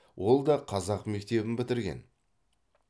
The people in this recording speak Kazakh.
ол да қазақ мектебін бітірген